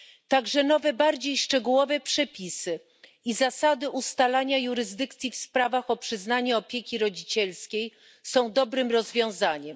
Także nowe, bardziej szczegółowe przepisy i zasady ustalania jurysdykcji w sprawach o przyznanie opieki rodzicielskiej są dobrym rozwiązaniem.